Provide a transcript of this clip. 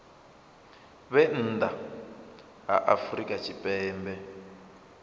vhe nnḓa ha afrika tshipembe